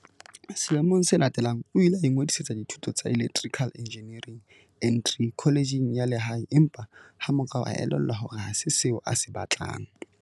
Selemong se latelang o ile a ingodisetsa dithuto tsa Electri cal Engineering N3 kholejeng ya lehae empa ha morao a elellwa hore ha se seo a se batlang.